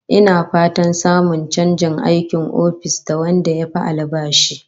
Ina fatan samun chanjin aikin ofis da wanda yafi albashi